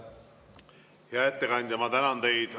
Hea ettekandja, ma tänan teid!